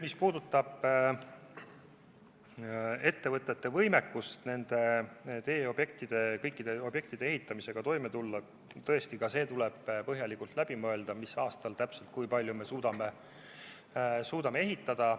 Mis puudutab ettevõtete võimekust kõikide teeobjektide ehitamisega toime tulla, siis tõesti tuleb põhjalikult läbi mõelda ka see, mis aastal ja kui palju me suudame ehitada.